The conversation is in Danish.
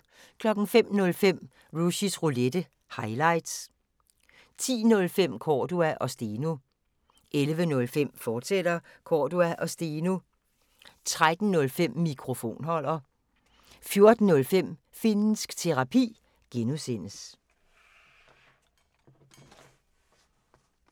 05:05: Rushys Roulette – highlights 10:05: Cordua & Steno 11:05: Cordua & Steno, fortsat 13:05: Mikrofonholder 14:05: Finnsk Terapi (G)